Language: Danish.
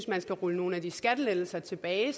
man skal rulle nogle af de skattelettelser tilbage